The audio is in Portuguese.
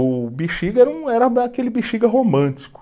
O Bixiga era um, era aquele Bixiga romântico.